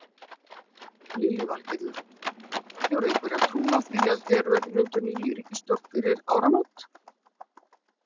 Lillý Valgerður: Hefurðu einhverja trú á því að hér verði mynduð ný ríkisstjórn fyrir áramót?